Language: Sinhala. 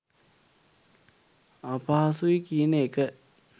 අපහසුයි කියන එක.